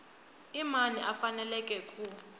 i mani a faneleke ku